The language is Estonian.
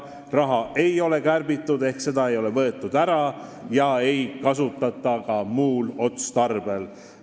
Raha ei ole kärbitud ehk seda ei ole võetud ära ega kasutata ka muul otstarbel.